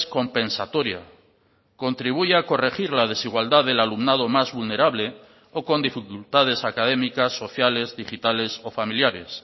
compensatoria contribuye a corregir la desigualdad del alumnado más vulnerable o con dificultades académicas sociales digitales o familiares